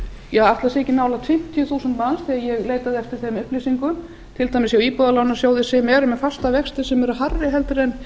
það séu ekki nálægt fimmtíu þúsund manns þegar ég leitaði eftir þeim upplýsingum til dæmis hjá íbúðalánasjóði sem eru með fasta vexti sem eru hærri en